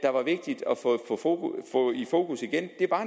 få i fokus igen